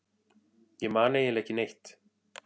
Ég man eiginlega ekki neitt.